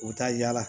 U bɛ taa yala